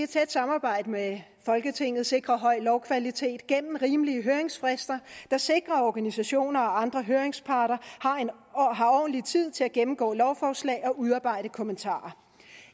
tæt samarbejde med folketinget sikre høj lovkvalitet gennem rimelige høringsfrister der sikrer at organisationer og andre høringsparter har ordentlig tid til at gennemgå lovforslag og udarbejde kommentarer